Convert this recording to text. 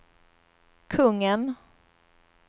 kungen